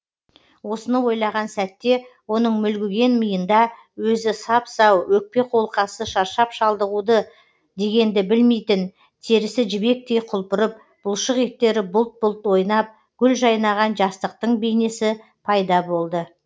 осыны ойлаған сәтте оның мүлгіген миында өзі сап сау өкпе қолқасы шаршап шалдығуды дегенді білмейтін терісі жібектей құлпырып бұлшық еттері бұлт бұлт ойнап гүл жайнаған жастықтың бейнесі пайда болды